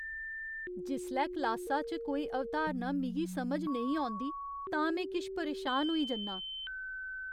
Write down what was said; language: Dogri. जिसलै क्लासा च कोई अवधारणा मिगी समझ नेईं औंदी तां में किश परेशान होई जन्ना आं।